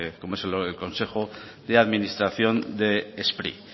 como es el consejo de administración de spri